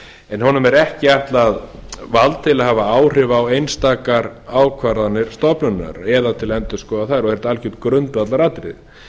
en honum er ekki ætlað vald til að hafa áhrif á einstakar ákvarðanir stofnunarinnar eða til að endurskoða þær og er það algert grundvallaratriði